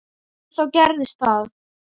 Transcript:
En þá gerðist það.